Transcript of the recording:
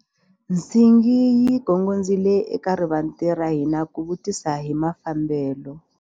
Nsingi yi gongondzile eka rivanti ra hina ku vutisa hi mafambelo.